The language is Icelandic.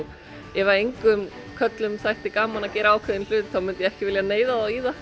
ef engum körlum þætti gaman að gera ákveðinn hlut myndi ég ekki vilja neyða þá í það